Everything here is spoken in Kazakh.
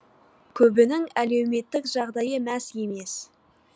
көбінің әлеуметтік жағдайы мәз емес